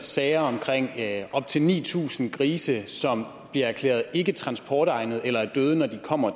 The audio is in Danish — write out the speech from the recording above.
sager med op til ni tusind grise som bliver erklæret ikketransportegnede eller er døde når de kommer